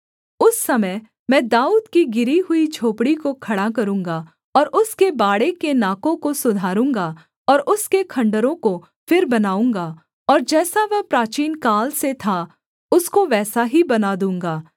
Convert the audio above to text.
उस समय मैं दाऊद की गिरी हुई झोपड़ी को खड़ा करूँगा और उसके बाड़े के नाकों को सुधारूँगा और उसके खण्डहरों को फिर बनाऊँगा और जैसा वह प्राचीनकाल से था उसको वैसा ही बना दूँगा